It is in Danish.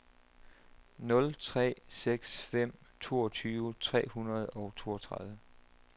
nul tre seks fem toogtyve tre hundrede og toogtredive